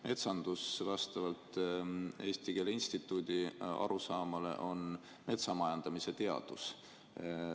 Metsandus vastavalt Eesti Keele Instituudi arusaamale on metsamajandamise teadus.